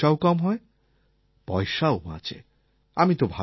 এতে খরচাও কম হয় পয়সাও বাঁচে